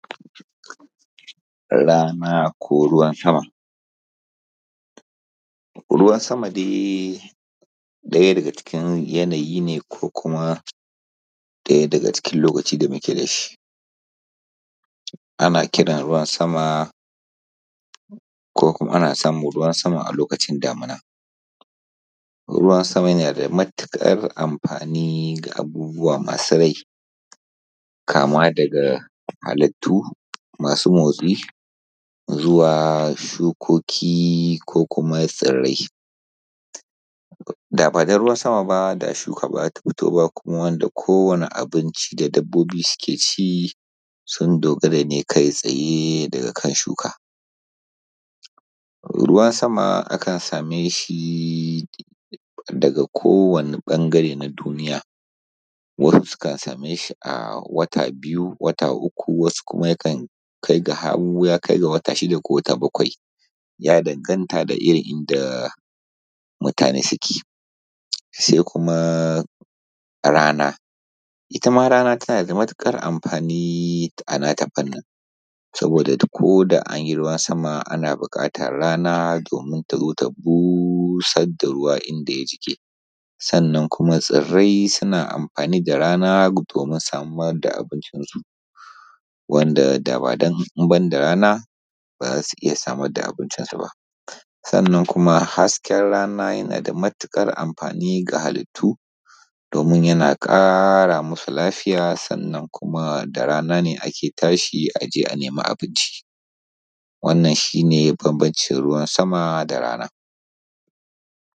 Rana ko ruwan sama, ruwan sama dai ɗaya daga cikin yanayi ne ko kuma ɗaya daga cikin lokaci da muke da shi ana kiran ruwan sama ko kuma ana samun ruwan sama a lokacin damuna kuma yana da matuƙar amfani ga abubuwa masu rai kama daga halittu masu motsi zuwa shukoki ko kuma tsirrai. Da ba don ruwan sama ba shuka ba za ta tsira ba kuma wanda kowanne abinci sun dogara ne kai tsaye daga kan shuka. Ruwan sama akan same shi daga kowanne ɓangare na duniya wasu sukan same shi a wata biyu wata uku wasu kuma yakan kainhar ga wata shida ko ta bakwai ya danganta da inda mutane suke. Kuma rana ita ma rana tana da matuƙar amfani a nata fanni. Saboda ko da an yi ruwan sama ana buƙatar rana domin ta zo ta busar da ruwa inda ya jike, sannan kuma tsirrai suna amfani rana domin samar da abincinsu, wanda ba domin rana ba ba za su iya samar da abincinsu ba. Sannnan kuma hasken rana na da matuƙar amfani ga halittu domin yana ƙara musu lafiya da kuma da rana ne ake tashi a je a nema abinci. Wannan shi ne bambancin ruwan sama da rana.